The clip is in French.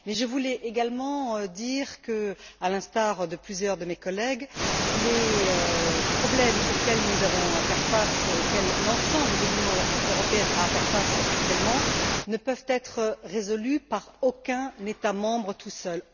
Mais je voulais également dire, à l'instar de plusieurs de mes collègues, que les problèmes auxquels nous avons à faire face, auxquels l'ensemble de l'Union européenne a à faire face actuellement, ne peuvent être résolus par aucun État membre tout seul.